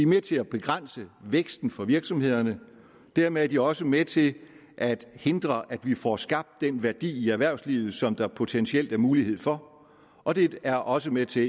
med til at begrænse væksten for virksomhederne og dermed er de også med til at hindre at vi får skabt den værdi i erhvervslivet som der potentielt er mulighed for og det er også med til